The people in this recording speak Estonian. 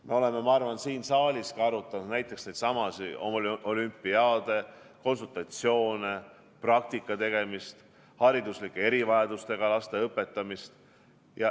Me oleme minu arvates siin saaliski arutanud näiteks neidsamu olümpiaade, konsultatsioone, praktika tegemist, hariduslike erivajadustega laste õpetamist.